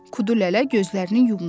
Kudulələ gözlərini yumdu.